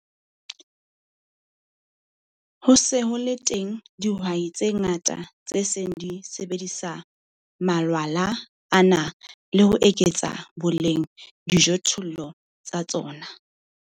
Ho se ho le teng dihwai tse ngata tse seng di sebedisa malwala ana le ho eketsa boleng dijothollong tsa tsona.